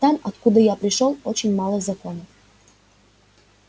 там откуда я пришёл очень мало законов